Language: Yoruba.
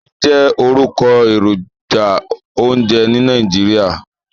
Maggi jẹ́ orúkọ èròjà oúnjẹ ní Nàìjíríà.